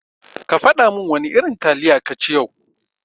Kafada min wana irin taliya kaci yau.